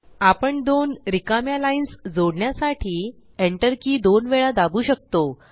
आपण दोन रिकाम्या लाइन्स जोडण्यासाठी Enter की दोन वेळा दाबु शकतो